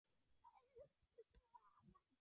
Elsku Svava.